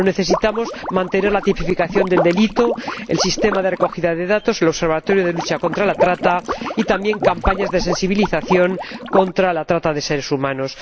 Pero necesitamos mantener la tipificación del delito, el sistema de recogida de datos, el Observatorio de lucha contra la trata de seres humanos y también campañas de sensibilización contra la trata de seres humanos.